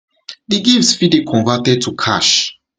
di gifts fit dey converted to cash